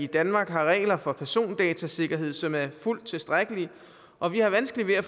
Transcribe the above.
danmark har regler for persondatasikkerhed som er fuldt tilstrækkelige og vi har vanskeligt ved at